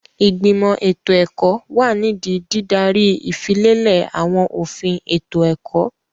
Ìgbìmọ̀ ètò ẹ̀kọ́ wà nídìí dídaríi ìfilélẹ̀ àwọn òfin ètò ẹ̀kọ́.